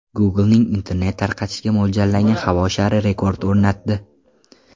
Google’ning internet tarqatishga mo‘ljallangan havo shari rekord o‘rnatdi .